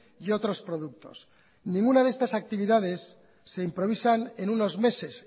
y otros productos ninguna de estas actividades se improvisan en unos meses